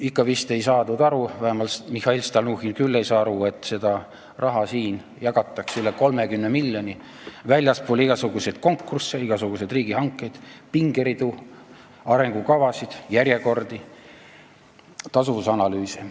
Ikka vist pole aru saadud, vähemalt Mihhail Stalnuhhin küll ei ole aru saanud, et siin jagatakse üle 30 miljoni euro väljaspool igasuguseid konkursse, igasuguseid riigihankeid, pingeridu, arengukavasid, järjekordi, tasuvusanalüüse.